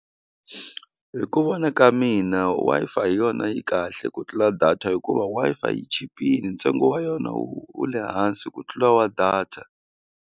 Hi ku vona ka mina Wi-Fi hi yona yi kahle ku tlula data hikuva Wi-Fi yi chipile ntsengo wa yona wu wu le hansi ku tlula wa data.